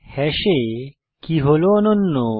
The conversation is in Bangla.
হ্যাশে কে কী হল অনন্য